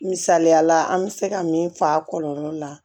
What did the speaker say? Misaliyala an bɛ se ka min fɔ a kɔlɔlɔ la